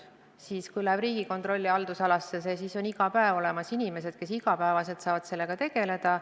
Kui see läheb Riigikontrolli haldusalasse, siis on iga päev olemas inimesed, kes saavad sellega tegeleda.